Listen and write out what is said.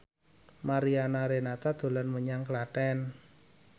Mariana Renata dolan menyang Klaten